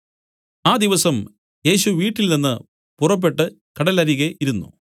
ആ ദിവസം യേശു വീട്ടിൽനിന്ന് പുറപ്പെട്ടു കടലരികെ ഇരുന്നു